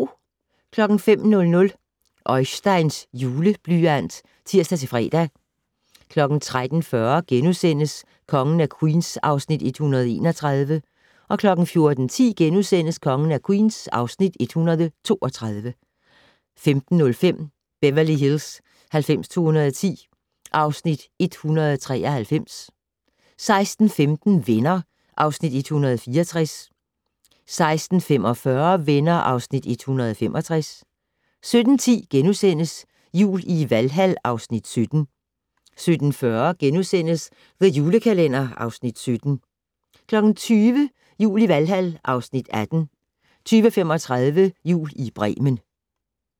05:00: Øisteins Juleblyant (tir-fre) 13:40: Kongen af Queens (Afs. 131)* 14:10: Kongen af Queens (Afs. 132)* 15:05: Beverly Hills 90210 (Afs. 193) 16:15: Venner (Afs. 164) 16:45: Venner (Afs. 165) 17:10: Jul i Valhal (Afs. 17)* 17:40: The Julekalender (Afs. 17)* 20:00: Jul i Valhal (Afs. 18) 20:35: Jul i Bremen